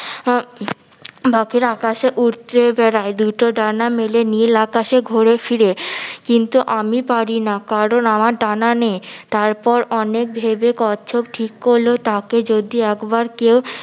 আহ পাখিরা আকাশে উড়তে বেড়ায় দুইটো ডানা মেলে নীল আকাশে ঘোরে ফিরে কিন্তু আমি পারি না কারণ আমার ডানা নেই তারপর অনেক ভেবে কচ্ছপ ঠিক করলো তাকে যদি একবার কেউ